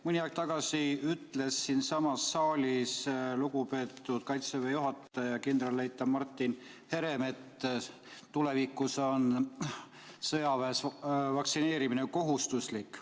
Mõni aeg tagasi ütles siinsamas saalis lugupeetud Kaitseväe juhataja kindralleitnant Martin Herem, et tulevikus on sõjaväes vaktsineerimine kohustuslik.